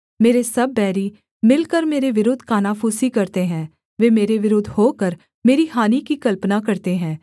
मेरे सब बैरी मिलकर मेरे विरुद्ध कानाफूसी करते हैं वे मेरे विरुद्ध होकर मेरी हानि की कल्पना करते हैं